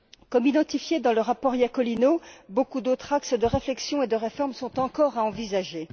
Comme identifié dans le rapport Iacolino, beaucoup d'autres axes de réflexion et de réforme sont encore à envisager.